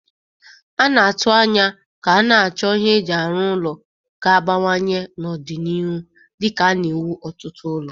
A na-atụ anya ka a na-achọ ihe eji arụ ụlọ ga-abawanye n'ọdịniihu dika a na-ewu ọtụtụ ụlọ